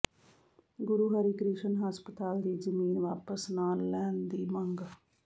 ਗੁਰੂ ਹਰਿਕ੍ਰਿਸ਼ਨ ਹਸਪਤਾਲ ਦੀ ਜ਼ਮੀਨ ਵਾਪਸ ਨਾਲ ਲੈਣ ਦੀ ਮੰਗ